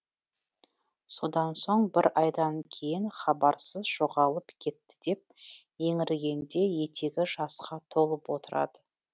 содан соң бір айдан кейін хабарсыз жоғалып кетті деп еңіргенде етегі жасқа толып отырады